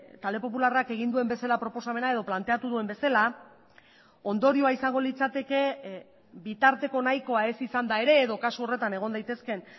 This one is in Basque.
talde popularrak egin duen bezala proposamena edo planteatu duen bezala ondorioa izango litzateke bitarteko nahikoa ez izanda ere edo kasu horretan egon daitezkeen